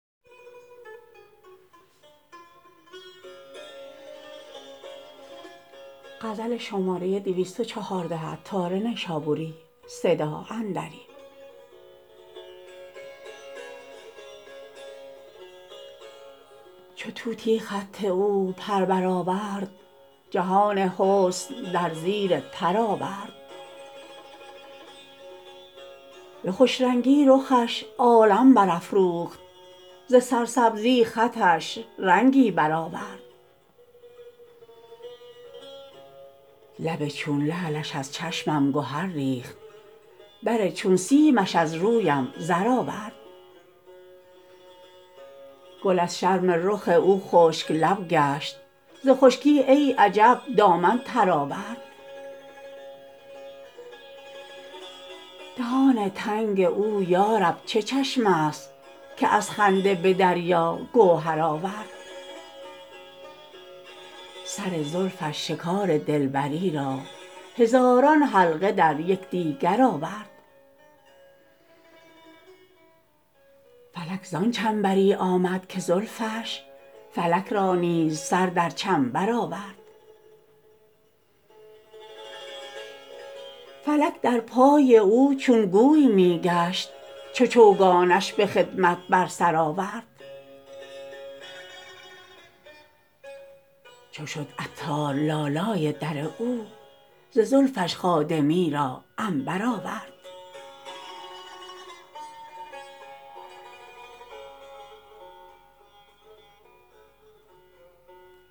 چو طوطی خط او پر سر بر آورد جهان حسن در زیر پر آورد به خوش رنگی رخش عالم برافروخت ز سرسبزی خطش رنگی بر آورد لب چون لعلش از چشمم گهر ریخت بر چون سیمش از رویم زر آورد گل از شرم رخ او خشک لب گشت ز خشکی ای عجب دامن تر آورد دهان تنگ او یارب چه چشمه است که از خنده به دریا گوهر آورد سر زلفش شکار دلبری را هزاران حلقه در یکدیگر آورد فلک زان چنبری آمد که زلفش فلک را نیز سر در چنبر آورد فلک در پای او چون گوی می گشت چو چوگانش به خدمت بر سر آورد چو شد عطار لالای در او ز زلفش خادمی را عنبر آورد